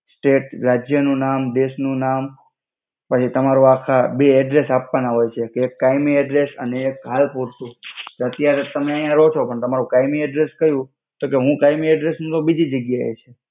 જે રજ્ય નુ નામ દેસ નુ નામ પછી તમારુ બે એડ્રેસ્સ આપ્વાના હોય છે કે એક કાય્મિ એડ્રેસ્સ અને એક હાલ પુર્તુ અત્યારે ત તમે આયા રહો છો પણ તમારુ કય્મિ એડ્રેસ્સ ક્યુ તો કે હુ એડ્રેસ્સ નુ તો બિજિ જ્ગ્યા એ છી.